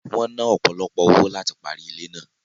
Wọ́n ná ọ̀pọ̀lọpọ̀ owó láti parí ilé náà